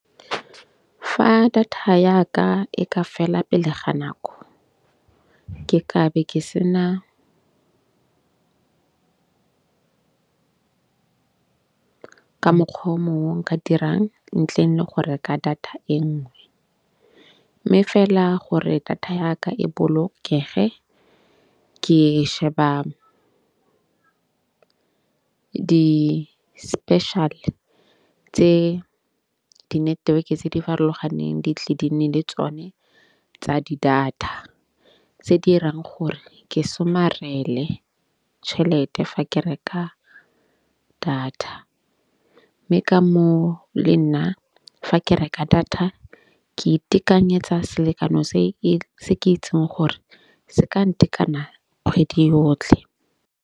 Fa data ya ka e ka fela pele ga nako ke ka be ke sena ka mokgwa o mongwe nka dirang ntleng le go reka data e nngwe. Mme fela gore data ya ka e bolokege ke sheba di-special-e tse di-network-e tse di farologaneng di tle di nne le tsone tsa di-data. Tse dirang gore ke somarele tšhelete fa ke reka data. Mme ka moo le nna fa ke reka data ke itekanyetsa selekano se ke itseng gore se ka ntekana kgwedi yotlhe.